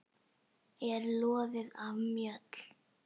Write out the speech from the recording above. er loðið af mjöll.